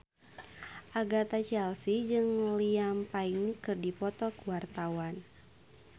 Agatha Chelsea jeung Liam Payne keur dipoto ku wartawan